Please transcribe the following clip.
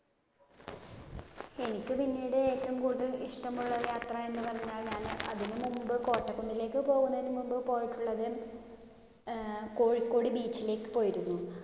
എനിക്ക് പിന്നീട് ഏറ്റവും കൂടുതൽ ഇഷ്ടമുള്ള യാത്ര എന്നുപറഞ്ഞാലാണ് അതിനു മുൻപ് കോട്ടക്കുന്നിലേക്ക് പോകുന്നതിനു മുൻപ് പോയിട്ടുള്ളത് അഹ് കോഴിക്കോട് beach യിലേക്ക് പോയിരുന്നു.